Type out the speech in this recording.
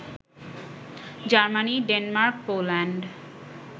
Germany, Denmark, Poland